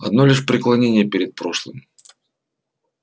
одно лишь преклонение перед прошлым